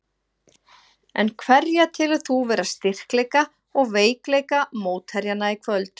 En hverja telur þú vera styrkleika og veikleika mótherjanna í kvöld?